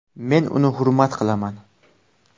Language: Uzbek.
Men uni hurmat qilaman.